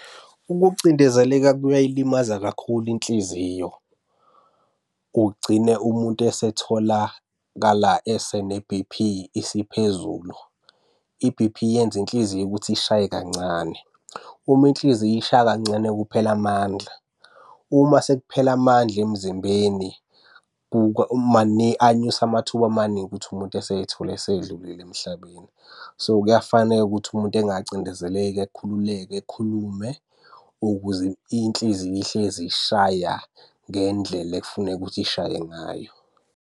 Ukucindezeleka kuyayilimaza kakhulu inhliziyo. Kugcine umuntu esetholakala esene-B_P isiphezulu. I-B_P yenza inhliziyo ukuthi ishaye kancane. Uma inhliziyo ishaya kancane kuphela amandla. Uma sekuphele amandla emzimbeni anyusa amathuba amaningi ukuthi umuntu esey'thola esedlulile emhlabeni. So, kuyafaneka ukuthi umuntu engacindezeleki akhululeke ekhulume ukuze inhliziyo ihlezi ishaya ngendlela ekufuneka ukuthi ishaye ngayo.